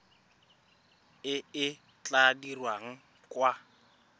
e e tla dirwang kwa